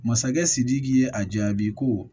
Masakɛ sidiki ye a jaabi ko